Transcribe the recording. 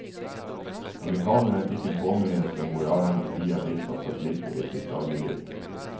Amerikanerne fikk en påminnelse om hvor avhengige de er blitt av satellitter i sitt dagligliv.